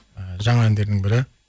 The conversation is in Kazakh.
жаңа әндерінің бірі